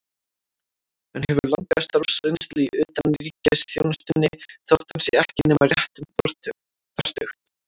Hann hefur langa starfsreynslu í utanríkisþjónustunni, þótt hann sé ekki nema rétt um fertugt.